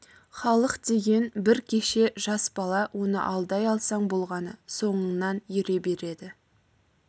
халық деген бір кеще жас бала оны алдай алсаң болғаны соңыңнан ере береді